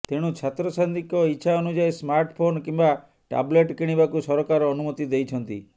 ତେଣୁ ଛାତ୍ରଛାତ୍ରୀଙ୍କ ଇଚ୍ଛା ଅନୁଯାୟୀ ସ୍ମାର୍ଟ ଫୋନ୍ କିମ୍ବା ଟାବଲେଟ୍ କିଣିବାକୁ ସରକାର ଅନୁମତି ଦେଇଛନ୍ତି